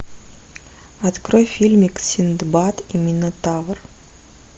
открой фильмик синдбад и минотавр